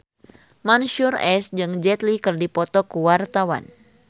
Mansyur S jeung Jet Li keur dipoto ku wartawan